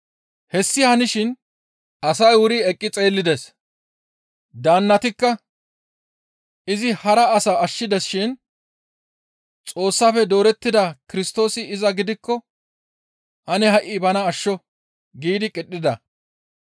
Hessi hanishin asay wuri eqqi xeellides; daannatikka, «Izi hara asaa ashshides shin Xoossafe doorettida Kirstoosi iza gidikko ane ha7i bana ashsho» giidi qidhida.